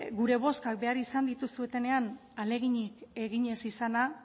gure bozkak behar izan dituzunean ahaleginik egin ez izana